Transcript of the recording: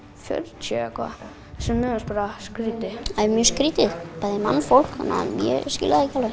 fjörutíu eða eitthvað sem mér fannst bara skrítið það er mjög skrítið bæði mannfólk þannig að ég skil það ekki alveg